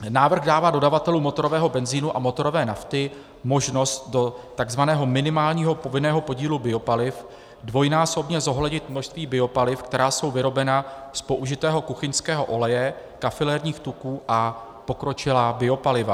Návrh dává dodavatelům motorového benzinu a motorové nafty možnost do takzvaného minimálního povinného podílu biopaliv dvojnásobně zohlednit množství biopaliv, která jsou vyrobena z použitého kuchyňského oleje, kafilerních tuků a pokročilá biopaliva.